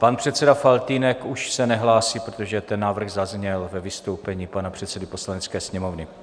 Pan předseda Faltýnek už se nehlásí, protože ten návrh zazněl ve vystoupení pana předsedy Poslanecké sněmovny.